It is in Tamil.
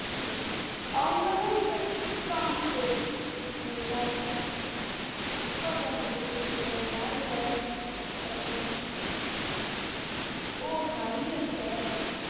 அவுங்களாம் இப்ப எங்க இருக்காங்கனு தெரில sir முக்கா pant பையனா யாரு sir ஹரி ஆஹ் sir